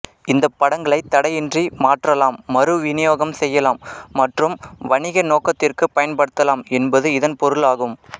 இந்தப் படங்ளைத் தடையின்றி மாற்றலாம் மறு விநியோகம் செய்யலாம் மற்றும் வணிக நோக்கம் க்கு பயன்படுத்தலாம் என்பது இதன் பொருளாகும்